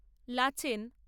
ল্যাচেন।